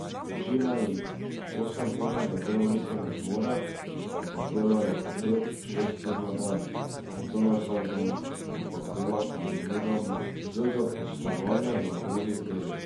Večina jih osemurnega delovnika ne zmore, ampak delajo po pet, šest ur na dan, in to ne vsak dan, ampak dela kombiniramo z zaposlovanjem na drugih delih.